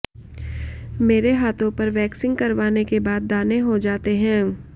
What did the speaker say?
मेरे हाथों पर वैक्सिंग करवाने के बाद दाने हो जाते हैं